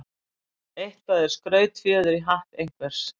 Eitthvað er skrautfjöður í hatt einhvers